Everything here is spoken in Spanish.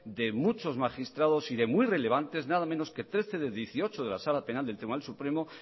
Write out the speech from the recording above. de muchos magistrados y de muy relevantes nada menos que trece de dieciocho de la sala penal del tribunal supremo